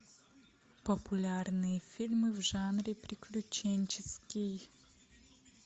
популярные фильмы в жанре приключенческий